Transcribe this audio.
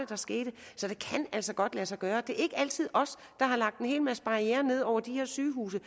der skete så det kan altså godt lade sig gøre det er ikke altid os der har lagt en hel masse barrierer ned over de her sygehuse